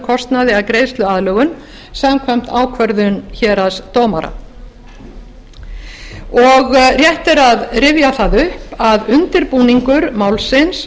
kostnaði að greiðsluaðlögun samkvæmt ákvörðun héraðsdómara rétt er að rifja það upp að undirbúiningur málsins